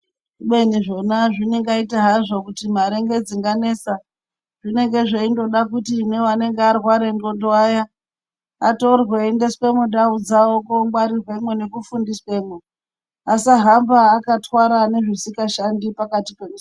Kubeni zvona zvingaita hazvo kuti mare ngedzinganetsa. Zvenenge zveindoda kuti nevanenge varwara ndxondo vaya atorwe aiendeswe mundau dzavo kongwarirwemwo ngekufundiswemwo. Asahamba akatwara nezvisikashandi pakatipo.